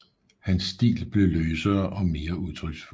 Hans stil blev løsere og mere udtryksfuld